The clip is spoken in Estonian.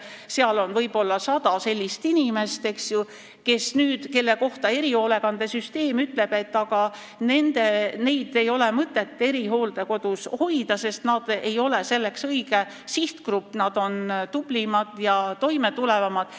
Seal on võib-olla 100 sellist inimest, kelle kohta erihoolekandesüsteem ütleb, et neid ei ole mõtet erihooldekodus hoida, sest nad ei ole õige sihtgrupp, nad on tublimad ja toimetulevamad.